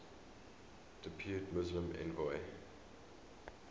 depute muslim envoy